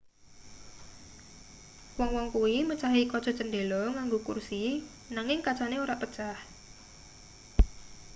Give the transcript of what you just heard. wong-wong kuwi mecahi kaca cendhela nganggo kursi nanging kacane ora pecah